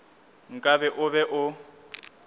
nka be o be o